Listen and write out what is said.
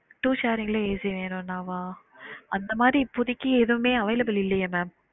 Two sharing ல AC வேணும்னாவா? அந்த மாரி இப்பதைக்கு எதுவுமே available இல்லையே mam